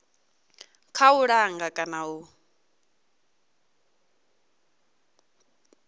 kha u langa kana u